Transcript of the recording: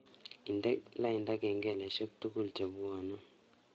Indene lainda kengeleshekchuk tugul chenwone